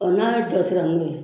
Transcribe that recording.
n'a jɔsira n'o ye